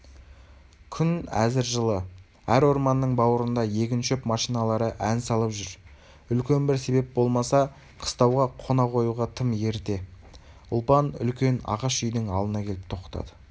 күн әзір жылы әр орманның бауырында егін-шөп машиналары ән салып жүр үлкен бір себеп болмаса қыстауға қона қоюға тым ерте ұлпан үлкен ағаш үйдің алдына келіп тоқтады